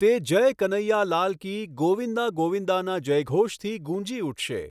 તે જય કનૈયા લાલ કી, ગોવિંદા ગોવિંદાના જયઘોષથી ગુંજી ઉઠશે.